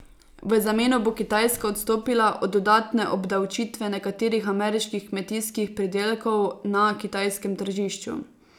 V zameno bo Kitajska odstopila od dodatne obdavčitve nekaterih ameriških kmetijskih pridelkov na kitajskem tržišču.